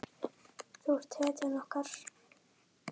Þú ert hetjan okkar.